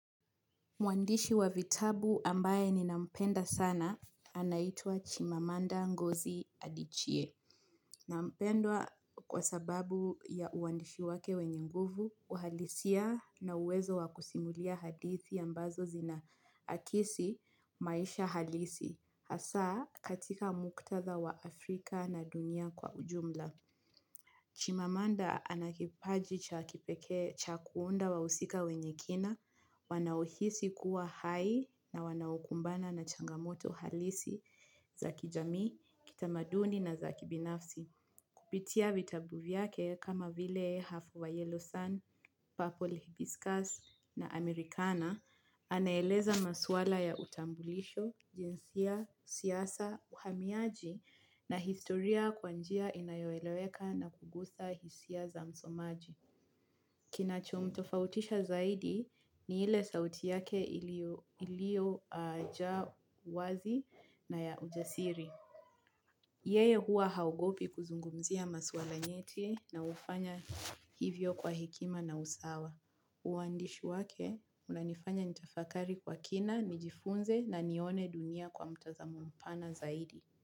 Mwandishi wa vitabu ambaye ninampenda sana anaitwa Chimamanda ngozi Adichie. Nampendwa kwa sababu ya uandishi wake wenye nguvu, uhalisia na uwezo wakusimulia hadithi ambazo zina akisi maisha halisi. Hasaa katika muktadha wa Afrika na dunia kwa ujumla. Chimamanda anakipaji cha kipekee cha kuunda wahusika wenye kina, wanaohisi kuwa hai na wanaukumbana na changamoto halisi, zaki jamii, kitamaduni na zaki binafsi. Kupitia vitabu vyake kama vile half of yellow sun, purple hibiscus na amerikana, anaeleza maswala ya utambulisho, jinsia, siasa, uhamiaji na historia kwanjia inayoeleweka na kugusa hisia za msomaji. Kinachomtofautisha zaidi ni ile sauti yake ilio jaa wazi na ya ujasiri. Yeye huwa haogopi kuzungumzia maswala nyeti na hufanya hivyo kwa hekima na usawa. Uwandishi wake, unanifanya nitafakari kwa kina, nijifunze na nione dunia kwa mtazamo mpana zaidi.